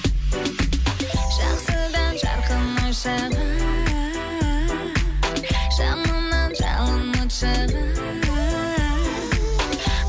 жақсыдан жарқын ой шығар жаманнан жалын от шығар